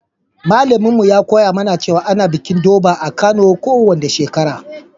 Malamin mu ya koya mana cewa ana bikin Durbar a'Kano ko wani shekara.